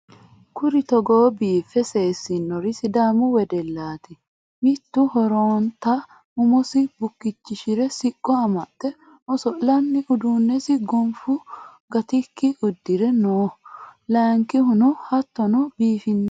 Kuri Togo biiffe seesinnori sidaamu wedelaatti. Mittu horonntta umosi bukkichchishire siqqo amaxxe oso'lanni uduunessi gonffu gattikki udirre noo layiinkihunno hattonni biiffinno